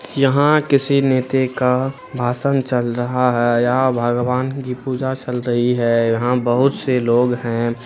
यहाँ किसी नेते का भाषण चल रहा है यहा भगवान की पूजा चल रही है यहाँ बहुत से लोग हैं ।